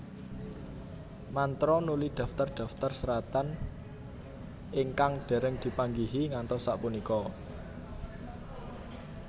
Mantera nuli daftar daftar seratan ingkang dereng dipanggihi ngantos sapunika